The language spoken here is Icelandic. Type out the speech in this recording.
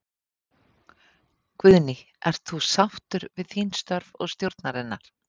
Guðný: Ert þú sáttur við þín störf og stjórnarinnar?